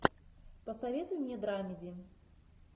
посоветуй мне драмеди